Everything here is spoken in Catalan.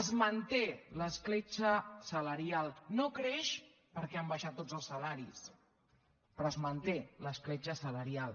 es manté l’escletxa salarial no creix perquè han baixat tots els salaris però es manté l’escletxa salarial